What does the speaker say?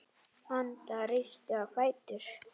Anda, rístu á fætur.